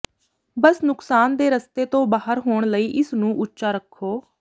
ਬਸ ਨੁਕਸਾਨ ਦੇ ਰਸਤੇ ਤੋਂ ਬਾਹਰ ਹੋਣ ਲਈ ਇਸ ਨੂੰ ਉੱਚਾ ਰੱਖੋ